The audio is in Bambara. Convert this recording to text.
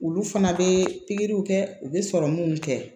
Olu fana bɛ pikiriw kɛ u bɛ sɔrɔ minnu kɛ